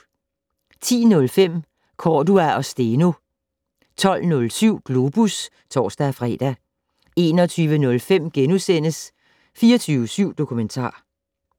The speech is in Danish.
10:05: Cordua og Steno 12:07: Globus (tor-fre) 21:05: 24syv Dokumentar *